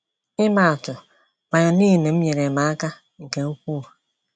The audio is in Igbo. Ịmaa atụ, violin m nyeere m aka nke ukwuu.